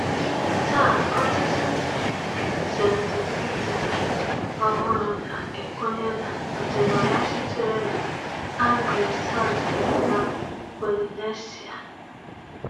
Taa ọtụtụ ndị ZeNdubuisider ọhụrụ na-ekwenye n’ọdịnala sitere na Anglo-Saxon na Polynesia.